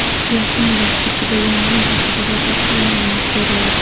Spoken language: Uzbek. Yaqin vaqt ichida yong‘in haqida batafsil ma’lumot beriladi.